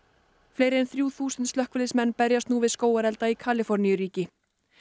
fleiri en þrjú þúsund slökkviliðsmenn berjast nú við skógarelda í Kaliforníuríki